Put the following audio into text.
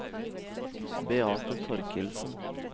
Beate Torkildsen